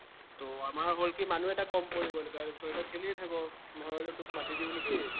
ত আমাৰ হল কি মানুহ এটা কম পৰি গল এৰ তইতো খেলিয়েই থাক, মই ভাবিলো তোক মাতি দিও নেকি